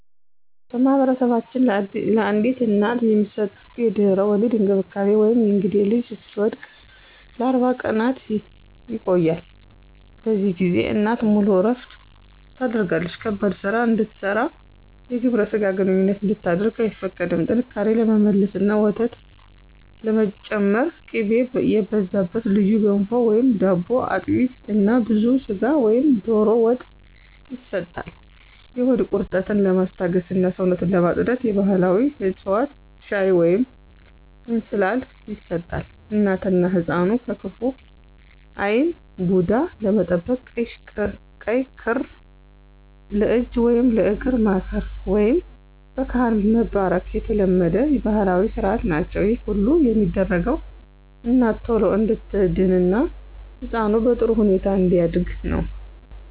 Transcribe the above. በማኅበረሰባችን ለአዲስ እናት የሚሰጠው የድህረ-ወሊድ እንክብካቤ (የእንግዴ ልጁ እስኪወድቅ) ለ40 ቀናት ይቆያል። በዚህ ጊዜ እናት ሙሉ እረፍት ታደርጋለች ከባድ ሥራ እንድትሠራና የግብረ ሥጋ ግንኙነት እንድታደርግ አይፈቀድላትም። ጥንካሬ ለመመለስና ወተት ለመጨመር ቅቤ የበዛበት ልዩ ገንፎ/ዳቦ፣ አጥሚት እና ብዙ ሥጋ ወይም ዶሮ ወጥ ይሰጣል። የሆድ ቁርጠትን ለማስታገስና ሰውነትን ለማፅዳት የባሕላዊ ዕፅዋት ሻይ ወይንም እንስላል ይሰጣታል። እናትና ሕፃኑን ከክፉ ዓይን (ቡዳ) ለመጠበቅ ቀይ ክር ለእጅ ወይም ለእግር ማሰር፣ ወይም በካህን መባረክ የተለመዱ ባሕላዊ ሥርዓቶች ናቸው። ይህ ሁሉ የሚደረገው እናት ቶሎ እንድትድንና ሕፃኑ በጥሩ ሁኔታ እንዲያድግ ነው።